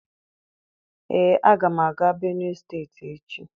Ee, aga m aga Benue steeti echi.